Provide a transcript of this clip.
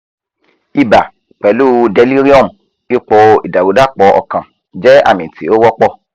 ibà pẹ̀lú delirium (ipò ìdàrúdàpọ̀ ọkàn) jẹ́ àmì tí ó wọ́pọ̀